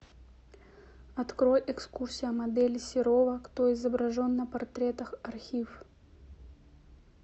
открой экскурсия модели серова кто изображен на портретах архив